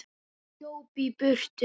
Hún hljóp í burtu.